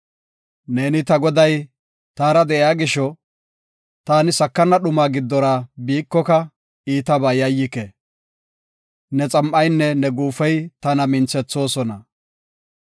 Ne ta Goday taara de7iya gisho, ta sakana dhumaa giddora biikoka, iitaba yayyike. ne xam7aynne ne guufey tana minthethoosona.